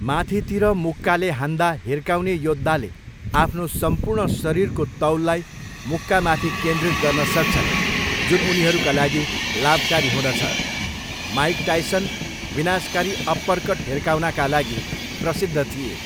माथितिर मुक्काले हान्दा हिर्काउने योद्धाले आफ्नो सम्पूर्ण शरीरको तौललाई मुक्कामाथि केन्द्रित गर्न सक्छन् जुन उनीहरूका लागि लाभकारी हुँदछ। माइक टाइसन विनाशकारी अप्परकट हिर्काउनाका लागि प्रसिद्ध थिए।